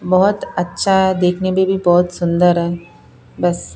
बहुत अच्छा है देखने में भी बहुत सुंदर है बस--